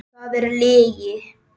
Það er lygi!